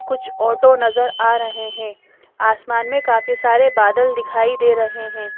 कुछ ऑटो नजर आ रहे हैं आसमान में काफी सारे बादल दिखाई दे रहे हैं।